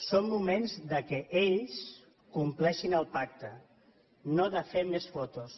són moments de què ells compleixin el pacte no de fer més fotos